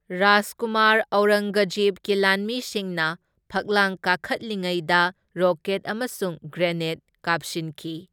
ꯔꯥꯖꯀꯨꯃꯥꯔ ꯑꯧꯔꯪꯒꯖꯦꯕꯀꯤ ꯂꯥꯟꯃꯤꯁꯤꯡꯅ ꯐꯛꯂꯥꯡ ꯀꯥꯈꯠꯂꯤꯉꯩꯗ ꯔꯣꯀꯦꯠ ꯑꯃꯁꯨꯡ ꯒ꯭ꯔꯦꯅꯦꯗ ꯀꯥꯞꯁꯤꯟꯈꯤ꯫